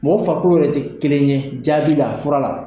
Mɔgɔ farikolo yɛrɛ tɛ kelen ye jaabi la fura la.